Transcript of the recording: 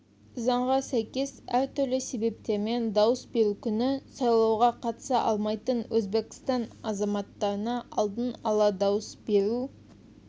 заңға сәйкес әртүрлі себептермен дауыс беру күні сайлауға қатыса алмайтын өзбекстан азаматтарына алдын ала дауыс беру